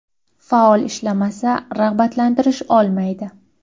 Faol ishlamasa, rag‘batlantirish olmaydi.